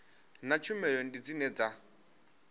na tshumelo ndi dzine dza